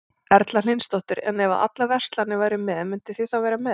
Erla Hlynsdóttir: En ef að allar verslanir væru með, mynduð þið þá vera með?